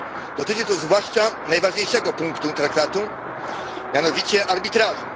Dotyczy to zwłaszcza najważniejszego punktu traktatu, mianowicie arbitrażu.